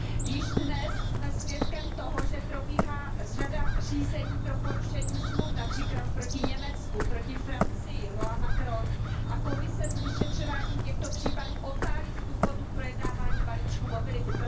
Již dnes jsme svědkem toho, že probíhá řada řízení pro porušení smluv, například proti Německu, proti Francii loi Macron a Komise s vyšetřováním těchto případů otálí z důvodu projednávání balíčku mobility.